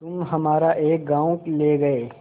तुम हमारा एक गॉँव ले गये